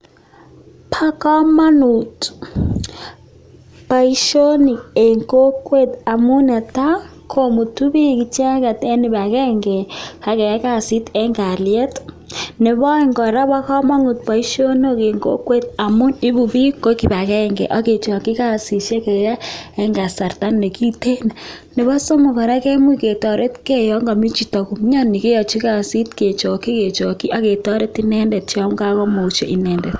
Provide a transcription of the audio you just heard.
Po komonut boishonon en kokwet amun netai komutu bik ichget en kibagenge en kaliet Nebo aeng kobo komonut boishonok en kokwet amun IBU bik ko kibagenge agechoki kasiyek en kasarta ne kitten Nebo somok kemuch ketoret komyech ketoret chito ne mioni yon kamokomuche inendet.